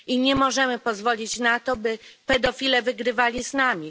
I nie możemy pozwolić na to, by pedofile wygrywali z nami.